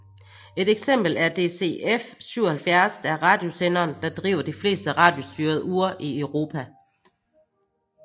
Et eksempel er DCF77 der er radiosenderen der driver de fleste radiostyrede ure i Europa